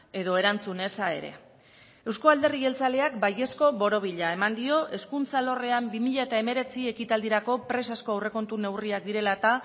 edo erantzun eza ere euzko alderdi jeltzaleak baiezko borobila eman dio hezkuntza alorrean bi mila hemeretzi ekitaldirako presazko aurrekontu neurriak direla eta